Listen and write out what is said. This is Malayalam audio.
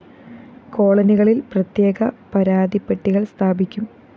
കോളനികളില്‍ പ്രത്യേക പരാതിപ്പെട്ടികള്‍ സ്ഥാപിക്കും